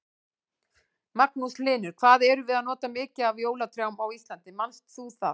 Magnús Hlynur: Hvað erum við að nota mikið af jólatrjám á Íslandi, manst þú það?